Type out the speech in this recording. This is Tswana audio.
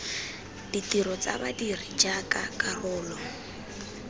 ditiro tsa badiri jaaka karolo